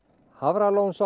Hafralónsá